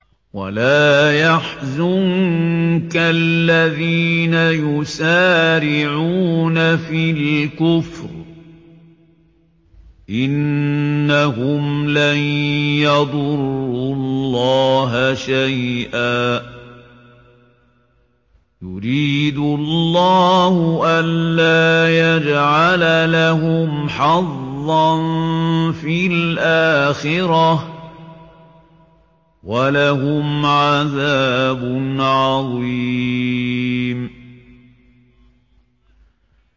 وَلَا يَحْزُنكَ الَّذِينَ يُسَارِعُونَ فِي الْكُفْرِ ۚ إِنَّهُمْ لَن يَضُرُّوا اللَّهَ شَيْئًا ۗ يُرِيدُ اللَّهُ أَلَّا يَجْعَلَ لَهُمْ حَظًّا فِي الْآخِرَةِ ۖ وَلَهُمْ عَذَابٌ عَظِيمٌ